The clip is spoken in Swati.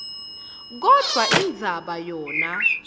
kodvwa indzaba yona